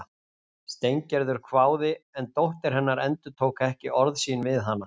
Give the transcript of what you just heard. Steingerður hváði en dóttir hennar endurtók ekki orð sín við hana